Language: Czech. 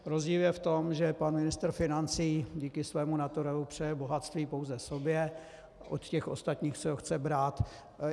Rozdíl je v tom, že pan ministr financí díky svému naturelu přeje bohatství pouze sobě, od těch ostatních si ho chce brát.